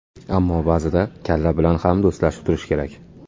Ammo ba’zida kalla bilan ham do‘stlashib turish kerak.